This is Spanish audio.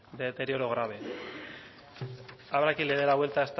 de deterioro grave habrá quien le dé la vuelta